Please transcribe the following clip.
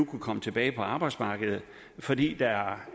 kunne komme tilbage på arbejdsmarkedet fordi der er